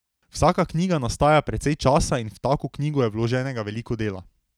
Vsaka knjiga nastaja precej časa in v tako knjigo je vloženega veliko dela.